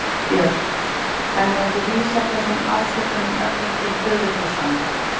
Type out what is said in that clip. Björn: Þannig að þú vísar þessum ásökunum öllum til föðurhúsanna?